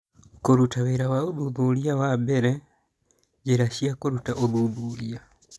Kũruta wĩra wa ũthuthuria wa mbere, njĩra cia kũruta ũthuthuria